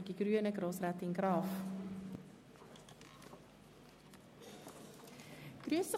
Für die Grünen spricht Grossrätin Graf-Rudolf.